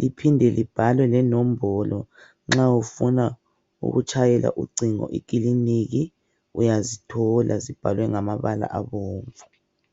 liphinde libhalwe lenombolo nxa ufuna ukutshaya ucingo ekiliniki uyazithola zibhalwe ngamabala abomvu.